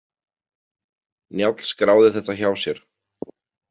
Njáll skráði þetta hjá sér.